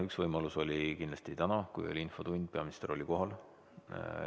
Üks võimalus oli kindlasti täna, kui oli infotund, kus peaminister oli kohal.